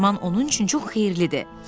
Dərman onun üçün çox xeyirlidir.